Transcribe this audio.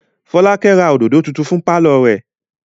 Fọ́lákẹ́ ra òdòdó tuntun fún pálọ̀ rẹ̀.